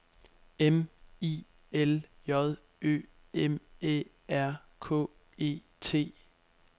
M I L J Ø M Æ R K E T